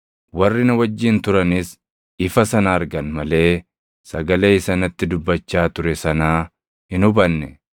Warri na wajjin turanis ifa sana argan malee sagalee isa natti dubbachaa ture sanaa hin hubanne.